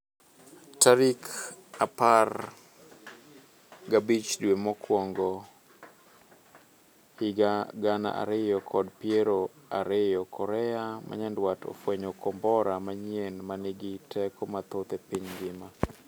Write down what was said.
Tarik apar gabichdwe mokwongohiga gana ariyo kod piero ariyo korea manyandwat ofwenyo kombora manyien manigi teko mathoth e piny ngima